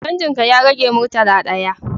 Canjin ka ya rage murtala ɗaya